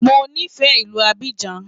Mo nífẹ̀ẹ́ ìlú Abidjan.